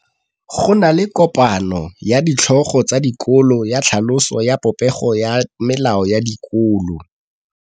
Go na le kopanô ya ditlhogo tsa dikolo ya tlhaloso ya popêgô ya melao ya dikolo.